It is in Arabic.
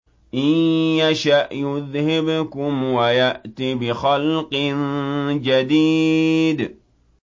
إِن يَشَأْ يُذْهِبْكُمْ وَيَأْتِ بِخَلْقٍ جَدِيدٍ